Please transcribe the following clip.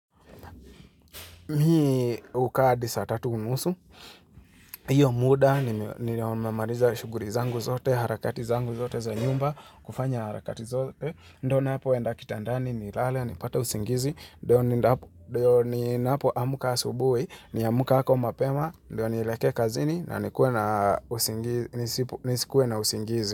Mi hukaa hadi saa tatu unusu, hiyo muda nimemaliza shughuli zangu zote, harakati zangu zote za nyumba, kufanya harakati zote. Ndo napo enda kitandani ni lale, nipate usingizi, ndo ninapo amka asubui, ni amka ako mapema, ndo nielekee kazini na nikuwe na nisikue na usingizi.